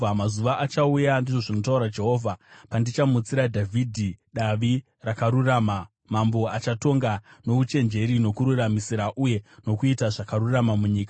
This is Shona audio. “Mazuva achauya,” ndizvo zvinotaura Jehovha, “pandichamutsira Dhavhidhi Davi rakarurama, Mambo achatonga nouchenjeri nokururamisira uye nokuita zvakarurama munyika.